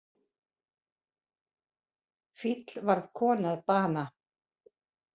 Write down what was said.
Fíll varð konu að bana